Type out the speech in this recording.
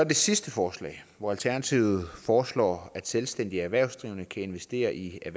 det sidste forslag hvor alternativet foreslår at selvstændige erhvervsdrivende kan investere i